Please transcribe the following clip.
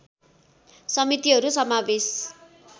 समितिहरू समावेश